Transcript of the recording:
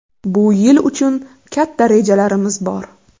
Bu yil uchun katta rejalarimiz bor.